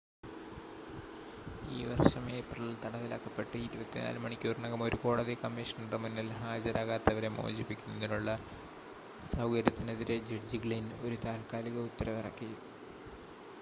ഈ വർഷം ഏപ്രിലിൽ തടവിലാക്കപ്പെട്ട് 24 മണിക്കൂറിനകം ഒരു കോടതി കമ്മീഷണറുടെ മുന്നിൽ ഹാജരാകാത്തവരെ മോചിപ്പിക്കുന്നതിനുള്ള സൗകര്യത്തിനെതിരെ ജഡ്ജി ഗ്ലിൻ ഒരു താത്കാലിക ഉത്തരവിറക്കി